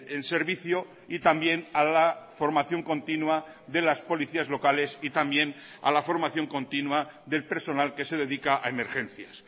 en servicio y también a la formación continua de las policías locales y también a la formación continua del personal que se dedica a emergencias